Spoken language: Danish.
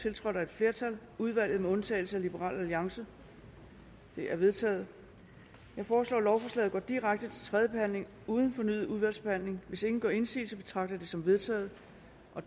tiltrådt af et flertal udvalget med undtagelse af liberal alliance de er vedtaget jeg foreslår at lovforslaget går direkte til tredje behandling uden fornyet udvalgsbehandling hvis ingen gør indsigelse betragter jeg det som vedtaget